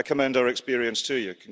I commend our experience to you.